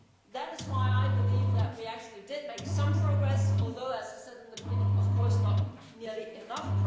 This is why I believe that we actually did make some progress although, as I said at the beginning, not nearly enough.